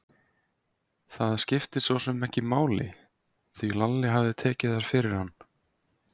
Það skipti sosum ekki máli, því Lalli hafði tekið þær fyrir hann.